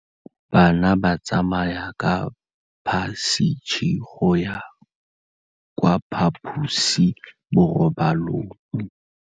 Bana ba tsamaya ka phašitshe go ya kwa phaposiborobalong.